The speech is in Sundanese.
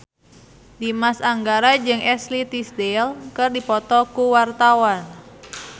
Dimas Anggara jeung Ashley Tisdale keur dipoto ku wartawan